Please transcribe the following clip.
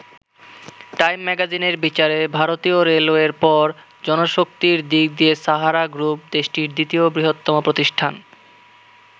Time ম্যাগাজিনের বিচারে, ভারতীয় রেলওয়ের পর জনশক্তির দিক দিয়ে সাহারা গ্রুপ দেশটির দ্বিতীয় বৃহত্তম প্রতিষ্ঠান।